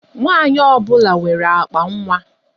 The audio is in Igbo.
Nwaanyị ọbụla nwere akpa nwa.